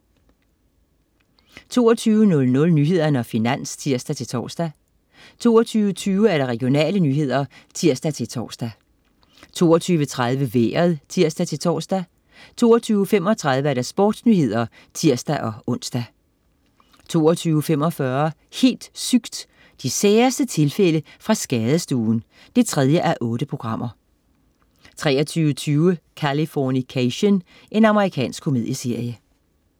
22.00 Nyhederne og Finans (tirs-tors) 22.20 Regionale nyheder (tirs-tors) 22.30 Vejret (tirs-tors) 22.35 SportsNyhederne (tirs-ons) 22.45 Helt sygt! De særeste tilfælde fra skadestuen 3:8 23.20 Californication. Amerikansk komedieserie